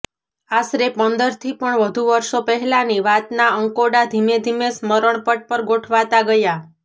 આશરે પંદરથી પણ વધુ વર્ષો પહેલાંની વાતના અંકોડા ધીમેધીમે સ્મરણપટ પર ગોઠવાતા ગયા